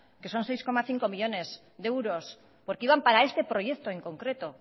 que son seis coma cinco millónes de euros porque iban para este proyecto en concreto